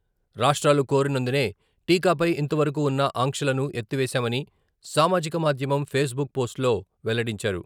రాష్ట్రాలు కోరినందునే టీకాపై ఇంతవరకూ ఉన్న ఆంక్షలను ఎత్తివేశామని సామాజిక మాధ్యమం ఫేస్ బుక్ పోస్టులో వెల్లడించారు.